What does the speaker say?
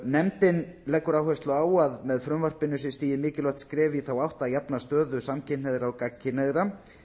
nefndin leggur áherslu á að með frumvarpinu sé stigið mikilvægt skref í þá átt að jafna stöðu samkynhneigðra og gagnkynhneigðra